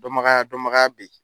Dɔnbagaya dɔnbagaya bɛ yen